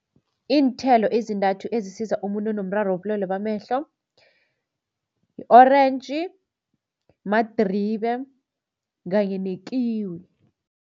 Iinthelo ezintathu ezisiza umuntu onomraro wobulwele bamehlo i-orentji, madribe kanye nekiwi.